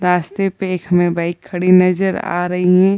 रास्ते पे एक हमें बाइक खड़ी नज़र आ रही है ।